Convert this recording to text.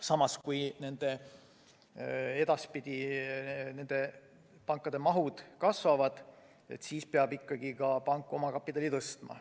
Samas, kui edaspidi panga maht kasvab, siis peab pank ikkagi omakapitali suurendama.